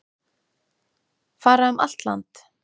Fara um allt land